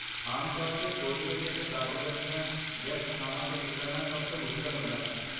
ਆਮ ਤੌਰ 'ਤੇ, ਬੋਰੀਵਲੀ ਅਤੇ ਦਾਦਰ ਵਰਗੀਆਂ ਵਿਅਸਤ ਥਾਵਾਂ ਤੋਂ ਨਿਕਲਣਾ ਸਭ ਤੋਂ ਮੁਸ਼ਕਲ ਹੁੰਦਾ ਹੈ।